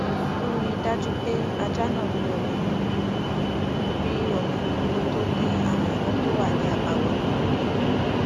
ó rí i dájú pé ajá náà rí omi mu rí omi mu kó tó dín àwọn iná tó wà ní àbáwọlé kù